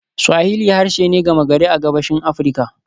Swahili harshe ne gama gari a Gabashin Afirka.